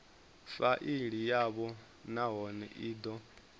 faili yavho nahone i do